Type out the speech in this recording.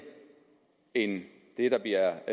end det der bliver